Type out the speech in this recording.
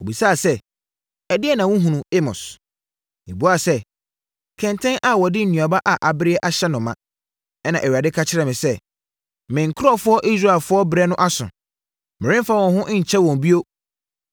Ɔbisaa sɛ, “Ɛdeɛn na wohunu, Amos?” Mebuaa sɛ, “Kɛntɛn a wɔde nnuaba a abereɛ ahyɛ no ma.” Ɛna Awurade ka kyerɛɛ me sɛ, “Me nkurɔfoɔ Israelfoɔ berɛ no aso; meremfa wɔn ho nnkyɛ wɔn bio.”